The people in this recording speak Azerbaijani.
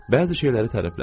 Bəzi şeyləri tərəflədi.